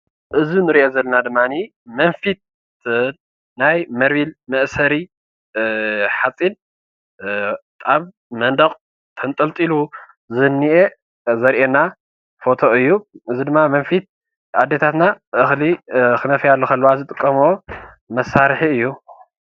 እዚ ምስሊ ካብ ሓፂን ዝስራሕ መንፊት ይበሃል እዚ ኸዓ እኽሊ ንምንፋይ ይጠቅም።